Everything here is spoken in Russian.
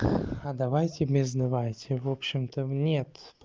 а давайте без давайте в общем там нет